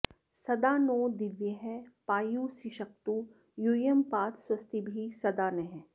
सदा॑ नो दि॒व्यः पा॒युः सि॑षक्तु यू॒यं पा॑त स्व॒स्तिभिः॒ सदा॑ नः